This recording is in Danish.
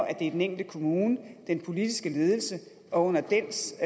at det er den enkelte kommune den politiske ledelse og under dens